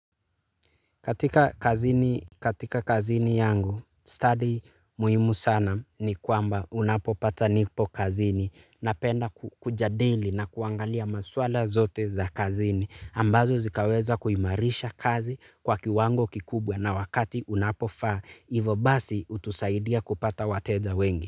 Katika kazini yangu, study muhimu sana ni kwamba unapopata nipo kazini napenda kujadili na kuangalia maswala zote za kazini. Ambazo zikaweza kuimarisha kazi kwa kiwango kikubwa na wakati unapofaa, ivo basi utusaidia kupata wateja wengi.